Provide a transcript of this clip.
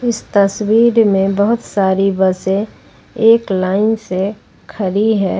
इस तस्वीर में बहुत सारी बसें एक लाइन से खड़ी है।